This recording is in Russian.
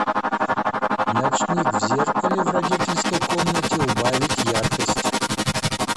ночник в зеркале в родительской комнате убавить яркость